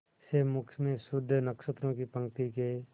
से मुख में शुद्ध नक्षत्रों की पंक्ति के